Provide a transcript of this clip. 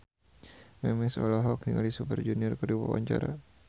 Memes olohok ningali Super Junior keur diwawancara